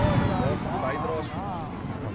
waarvan bydraes gemaak